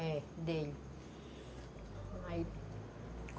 É, dele.